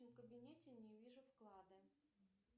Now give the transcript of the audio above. в кабинете не вижу вклада